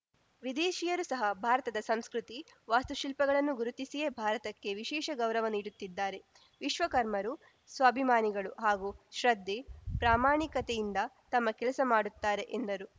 ವಿದೇಶಿಯರು ಸಹ ಭಾರತದ ಸಂಸ್ಕೃತಿ ವಾಸ್ತುಶಿಲ್ಪಗಳನ್ನು ಗುರುತಿಸಿಯೇ ಭಾರತಕ್ಕೆ ವಿಶೇಷ ಗೌರವ ನೀಡುತ್ತಿದ್ದಾರೆ ವಿಶ್ವಕರ್ಮರು ಸ್ವಾಭಿಮಾನಿಗಳು ಹಾಗೂ ಶ್ರದ್ಧೆ ಪ್ರಾಮಾಣಿಕತೆಯಿಂದ ತಮ್ಮ ಕೆಲಸ ಮಾಡುತ್ತಾರೆ ಎಂದರು